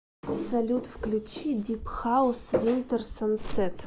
салют включи дип хаус винтер сансет